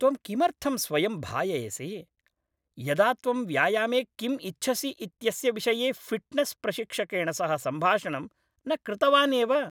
त्वं किमर्थं स्वयं भाययसि, यदा त्वं व्यायामे किम् इच्छसि इत्यस्य विषये फिट्नेस् प्रशिक्षकेण सह सम्भाषणं न कृतवान् एव?